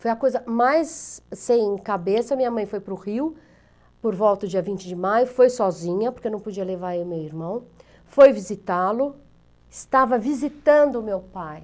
Foi a coisa mais sem cabeça, minha mãe foi para o Rio, por volta do dia vinte de maio, foi sozinha, porque não podia levar eu e meu irmão, foi visitá-lo, estava visitando meu pai.